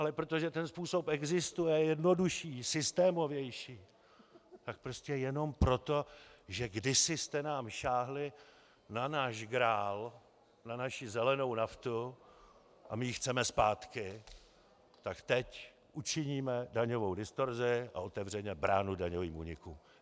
Ale protože ten způsob existuje, je jednodušší, systémovější, tak prostě jenom proto, že kdysi jste nám sáhli na náš grál, na naši zelenou naftu, a my ji chceme zpátky, tak teď učiníme daňovou distorzi a otevřeme bránu daňovým únikům.